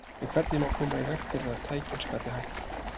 En hvernig má koma í veg fyrir að tækin skapi hættu?